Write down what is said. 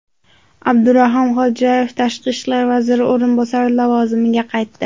Abdurahim Xodjayev tashqi ishlar vaziri o‘rinbosari lavozimiga qaytdi.